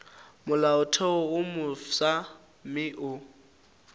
molaotheo wo mofsa mme o